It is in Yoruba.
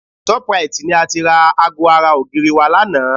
Shoprite ni a ti ra aago ara ògiri wa lánàá